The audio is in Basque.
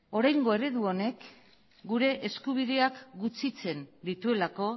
oraingo eredu honek gure eskubideak gutxitzen dituelako